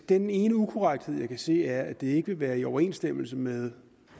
den ene ukorrekthed jeg kan se er at det ikke vil være i overensstemmelse med